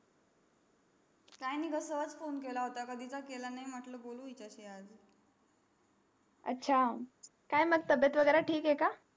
काही नाही ग सहच फोने केला कधीचा केला नाही म्हटलं बोलू हिचाही आज अच्छा काय मग तबियत वगैरा ठीक है का